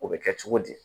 O bɛ kɛ cogo di